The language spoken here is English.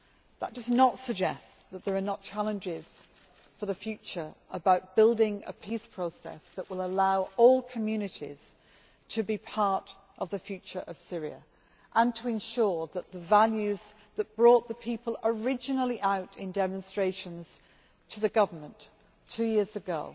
This does not suggest that there are not challenges for the future about building a peace process that will allow all communities to be part of the future of Syria and to ensure that the values that originally brought the people out in demonstrations against the government two years ago